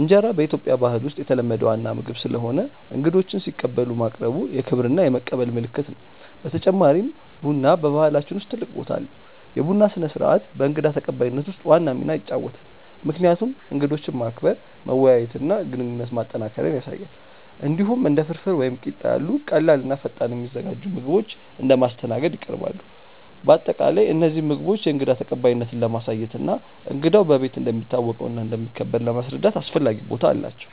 እንጀራ በኢትዮጵያ ባህል ውስጥ የተለመደ ዋና ምግብ ስለሆነ እንግዶችን ሲቀበሉ ማቅረቡ የክብር እና የመቀበል ምልክት ነው። በተጨማሪም ቡና በባህላችን ውስጥ ትልቅ ቦታ አለው፤ የቡና ስነ-ስርዓት በእንግዳ ተቀባይነት ውስጥ ዋና ሚና ይጫወታል፣ ምክንያቱም እንግዶችን ማክበር፣ መወያየት እና ግንኙነት ማጠናከር ያሳያል። እንዲሁም እንደ ፍርፍር ወይም ቂጣ ያሉ ቀላል እና ፈጣን የሚዘጋጁ ምግቦች እንደ ማስተናገድ ይቀርባሉ። በአጠቃላይ እነዚህ ምግቦች የእንግዳ ተቀባይነትን ለማሳየት እና እንግዳው በቤት እንደሚታወቀው እና እንደሚከበር ለማስረዳት አስፈላጊ ቦታ አላቸው።